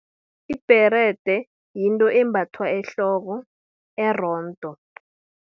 Ibherede, yinto embathwa ehloko erondo.